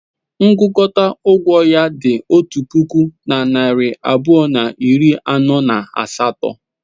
Ngụkọta ụgwọ ya dị otu puku na narị abụọ na iri anọ na asatọ.